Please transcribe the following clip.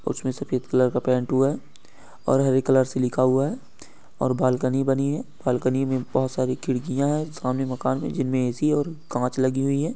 उसमे सफ़ेद कलर का पेंट हुआ है और हरे कलर से लिखा हुआ है और बालकनी बनी है ।बालकनी में बोहोत सारी खिड़कियाँ हैं सामने मकान है जिनमें ऐ_सी और कांच लगी हुई है|